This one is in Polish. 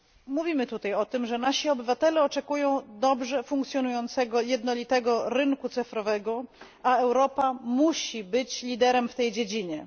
Mówimy tutaj o tym, że nasi obywatele oczekują dobrze funkcjonującego jednolitego rynku cyfrowego, a Europa musi być liderem w tej dziedzinie.